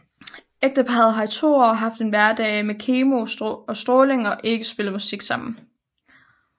Ægteparret har i to år haft en hverdag med kemo og stråling og ikke spillet musik sammen